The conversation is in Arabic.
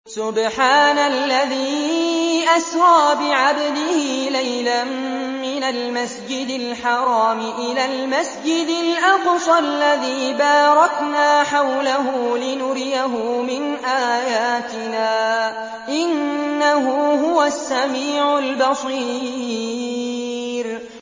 سُبْحَانَ الَّذِي أَسْرَىٰ بِعَبْدِهِ لَيْلًا مِّنَ الْمَسْجِدِ الْحَرَامِ إِلَى الْمَسْجِدِ الْأَقْصَى الَّذِي بَارَكْنَا حَوْلَهُ لِنُرِيَهُ مِنْ آيَاتِنَا ۚ إِنَّهُ هُوَ السَّمِيعُ الْبَصِيرُ